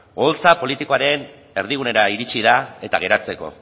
oholtza politikoaren erdigunera iritsi da eta geratzeko